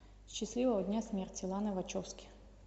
счастливого дня смерти лана вачовски